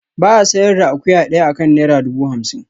Ba a sayar da akuya daya akan naira dubu hamsin